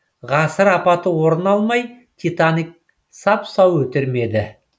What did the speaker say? ғасыр апаты орын алмай титаник сап сау өтер ме еді